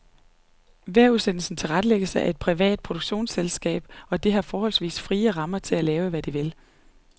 Vejrudsendelsen tilrettelægges af et privat produktionsselskab, og det har forholdsvis frie rammer til at lave, hvad de vil.